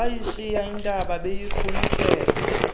bayishiya intaba bayiqhumisela